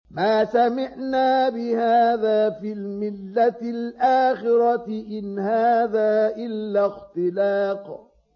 مَا سَمِعْنَا بِهَٰذَا فِي الْمِلَّةِ الْآخِرَةِ إِنْ هَٰذَا إِلَّا اخْتِلَاقٌ